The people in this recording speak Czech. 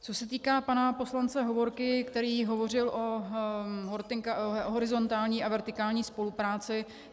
Co se týká pana poslance Hovorky, který hovořil o horizontální a vertikální spolupráci.